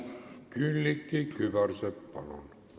Külliki Kübarsepp, palun!